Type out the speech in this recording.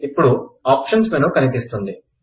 ఇప్పుడు option menu కనిపిస్తుంది